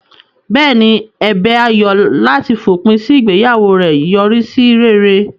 Bẹ́ẹ̀ ni, ẹ̀bẹ̀ Ayo láti fòpin sí ìgbéyàwó rẹ̀ yọrí sí rere.